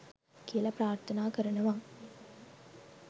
කියලා ප්‍රාර්ථනා කරනවා